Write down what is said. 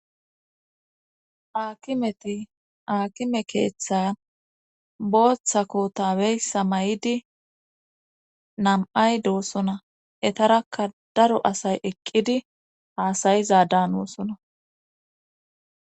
Aakimeti aakime keeththan booththa kotabeysa may7idi nam7ay doossona etarakka daro asay eqqidi haasayiza dan oossona.